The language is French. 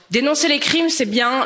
Dénoncer les crimes, c'est bien